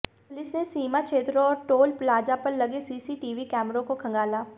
police ने सीमा क्षेत्रों और टोल प्लाजा पर लगे सीसीटीवी कैमरों को खंगाला